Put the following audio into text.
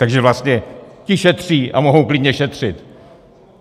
Takže vlastně ti šetří a mohou klidně šetřit.